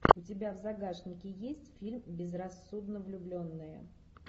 у тебя в загашнике есть фильм безрассудно влюбленные